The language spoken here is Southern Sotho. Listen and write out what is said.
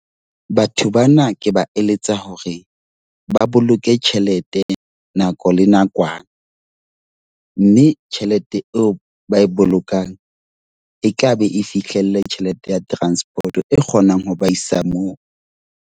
Batho bana ke ba eletsa hore ba boloke tjhelete nako le nakwana. Mme tjhelete eo ba e bolokang, e tlabe e fihlelle tjhelete ya transport e kgonang ho ba isa moo.